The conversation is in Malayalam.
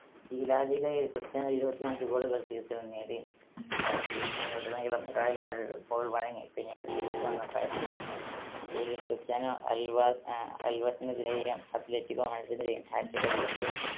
ഈ ലാ ലീഗയിൽ ക്രിസ്റ്റ്യാനോ ഇരുപത്തിയഞ്ച് goal കൾ season ൽ നേടി. അഹ് season ൽ ഉടനീളം റയൽ മാഡ്രിഡ് goal വഴങ്ങി പിന്നീട് തിരിച്ചു വന്ന കാഴ്ചയായിരുന്നു. league ൽ ക്രിസ്റ്റ്യാനോ അൽവാസ് ആഹ് അൽവാസിനെതിരെയും അത്ലറ്റികോ മാഡ്രിഡിനെതിരെയും hat trick അടിച്ചപ്പോൾ